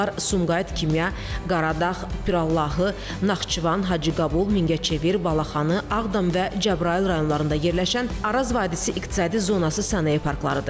Bunlar Sumqayıt Kimya, Qaradağ, Pirallahı, Naxçıvan, Hacıqabul, Mingəçevir, Balaxanı, Ağdam və Cəbrayıl rayonlarında yerləşən Araz Vadisi İqtisadi Zonası sənaye parklarıdır.